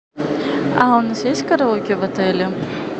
а у нас есть караоке в отеле